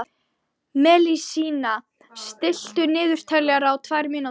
Messíana, stilltu niðurteljara á tvær mínútur.